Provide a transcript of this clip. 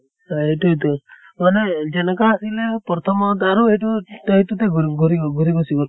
হয় এইতোয়ে টো যেনেকা আছিলে প্ৰথমত আৰু এইটো এইতোটে ঘুৰি ঘুৰিব ঘুৰি গুছি গʼল।